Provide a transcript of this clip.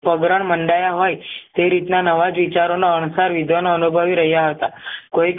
પગરણ મનડાય હોય તે રીતના નવાજ વિચારો ના અણસાર વિધ્નો અનુભવી રહ્યા હતા કોઈ